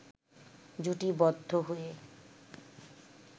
জুটিবদ্ধ হয়ে